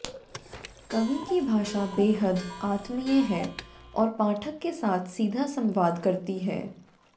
कवि की भाषा बेहद आत्मीय है और पाठक के साथ सीधा संवाद करती है